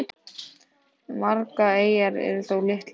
Margar eyjanna eru þó litlar.